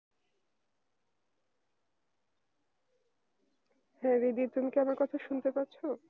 হ্যাঁ দিদি তুমি কি আমার কথা শুনতে পাচ্ছ?